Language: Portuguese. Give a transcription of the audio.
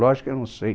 Lógico que eu não sei.